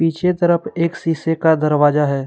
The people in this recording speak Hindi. छे तरफ एक शीशे का दरवाजा है।